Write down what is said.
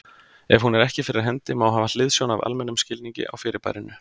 Ef hún er ekki fyrir hendi, má hafa hliðsjón af almennum skilningi á fyrirbærinu.